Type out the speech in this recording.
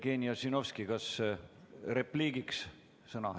Jevgeni Ossinovski, kas repliik?